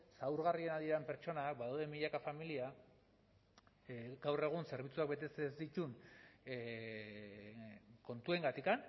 zaurgarrienak diren pertsonak badaude milaka familia gaur egun zerbitzu honek betetzen ez dituen kontuengatik